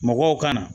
Mɔgɔw ka na